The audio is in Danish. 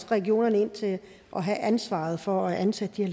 regionerne til at have ansvaret for at ansætte de